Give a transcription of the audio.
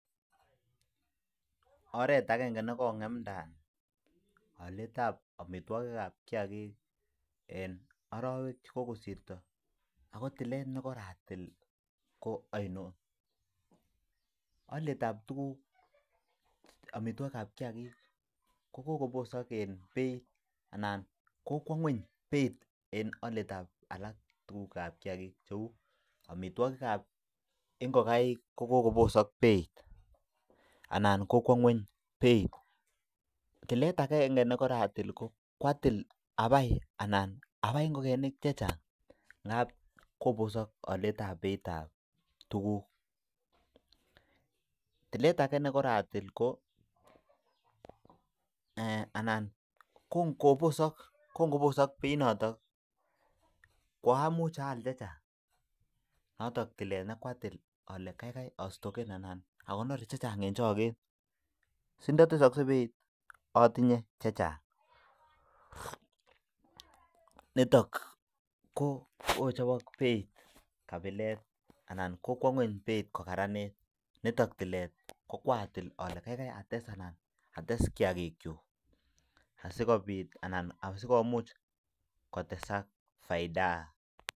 Oret agenge nekongemda alet ab amitwagik ab kiyagik en arawek chekokosirto akotilet nekoratil ko ainon alet ab tuguk amitwagik ab kiyagik kobosak en Beit anan kokwa kweny Beit en alet ab alak tuguk ab kiyagik cheu amitwagik ab ingokaik kokikobosak Beit anan kokwa kweny Beit tilet agenge nekoratil kwatil abai anan abai ingokenik chechang ngab kobosak alet ab Beit ab tuguk tilet age nekoratil ko anan kongobosak Beit noton kwamuch ayal chechang notonntilet nekwatil Kole kaigai astoken anan akonor chechang en chiket sintatesakse Beit atinye chechang niton ko kochabak Beit kabilet anan kokwa kweny Beit kokararanit niton tilet kwatil ale kaigai ates anan ates kiyakigk chuk asikobit anan sikomuch kotesak faida